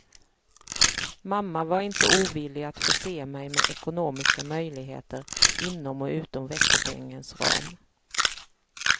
Mamma var inte ovillig att förse mig med ekonomiska möjligheter inom och utom veckopengens ram.